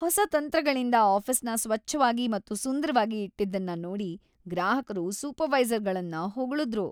ಹೊಸ ತಂತ್ರಗಳಿಂದ ಆಫಿಸ್ನ ಸ್ವಚ್ಛವಾಗಿ ಮತ್ತು ಸುಂದ್ರವಾಗಿ ಇಟ್ಟಿದ್ದನ್ನ ನೋಡಿ ಗ್ರಾಹಕರು ಸೂಪರ್ವೈಸರ್ ಗಳನ್ನು ಹೋಗಳುದ್ರು.